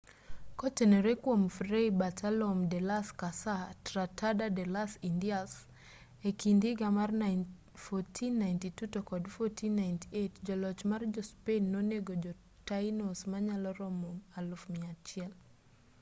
kotenore kuom fray bartolome de las casa tratado de las indias e kind higa mar 1492 to kod 1498 joloch ma jo-spain nonego jo-taínos manyalo romo 100,000